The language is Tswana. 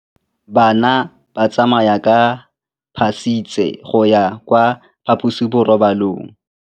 Bana ba tsamaya ka phašitshe go ya kwa phaposiborobalong.